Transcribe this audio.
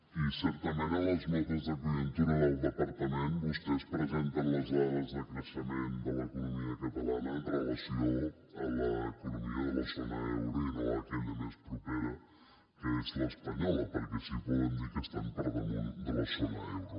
i certament en les notes de conjuntura del departament vostès presenten les dades de creixement de l’economia catalana amb relació a l’economia de la zona euro i no d’aquella més propera que és l’espanyola perquè així poden dir que estan per damunt de la zona euro